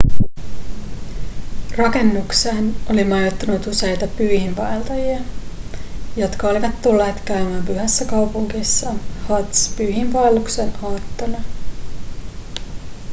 rakennukseen oli majoittunut useita pyhiinvaeltajia jotka olivat tulleet käymään pyhässä kaupungissa hadž-pyhiinvaelluksen aattona